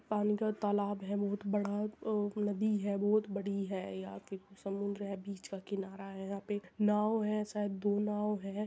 पानी का तालाब है बहुत बड़ा और नदी है बहुत बड़ी है। यहाँ पे समुंदर है बीच का किनारा है। यहाँ पे नाव है शायद दो नाव है।